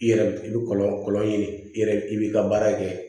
I yɛrɛ i bi kɔlɔn kɔlɔn ɲini i yɛrɛ i b'i ka baara kɛ